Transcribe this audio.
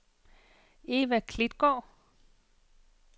Eva Klitgaard